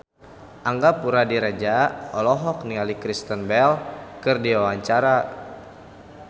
Angga Puradiredja olohok ningali Kristen Bell keur diwawancara